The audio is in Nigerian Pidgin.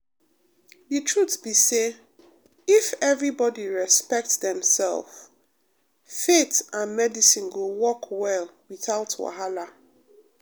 the truth be say if everybody um respect demself faith um and medicine go work well without wahala.